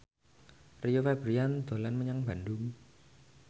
Rio Febrian dolan menyang Bandung